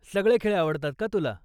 सगळे खेळ आवडतात का तुला?